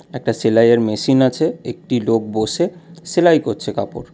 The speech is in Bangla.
একটা সেলায়ের মেশিন আছে একটি লোক বসে সেলাই করছে কাপড়।